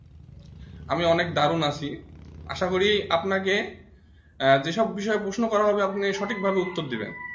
আমি অনেক দারুন আছি আসা করি আপনকে আহ যে সব বিষয় প্রশ্ন করা হবে আপনি সঠিক ভাবে উত্তর দিবেন